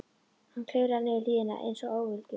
Hann klifraði niður hlíðina einsog óviljugur.